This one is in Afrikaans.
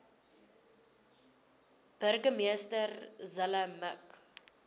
burgemeester zille mik